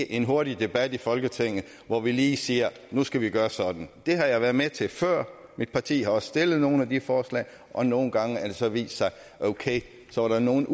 en hurtig debat i folketinget hvor vi lige siger at nu skal vi gøre sådan det har jeg været med til før mit parti har også stillet nogle af de forslag og nogle gange har det altså vist sig at okay så var der nogle